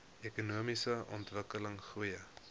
ekonomiese ontwikkeling goeie